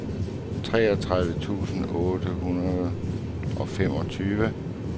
treogtredive tusind otte hundrede og femogtyve